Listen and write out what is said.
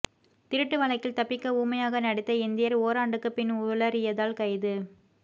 திருட்டு வழக்கில் தப்பிக்க ஊமையாக நடித்த இந்தியர் ஓராண்டுக்கு பின் உளறியதால் கைது